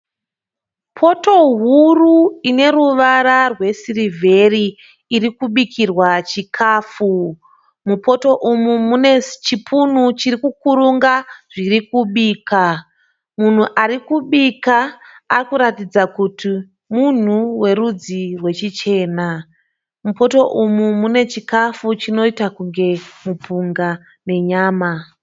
Poto huru ine ruvara rwesirivheri irikubikirwa chikafu .Mupoto umu mune chipunu chirikukurunga zvirikubikwa. Munhu arikubika arikuratidza kuti munhu werudzi rwechichena. Mupoto umu munechikafu chinoita kunge mupunga nenyama.